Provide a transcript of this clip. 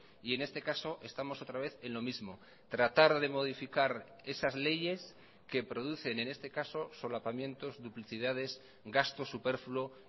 y en este caso estamos otra vez en lo mismo tratar de modificar esas leyes que producen en este caso solapamientos duplicidades gasto superfluo